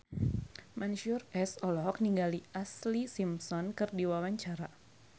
Mansyur S olohok ningali Ashlee Simpson keur diwawancara